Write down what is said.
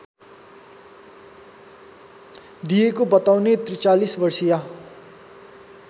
दिएको बताउने ४३ वर्षीया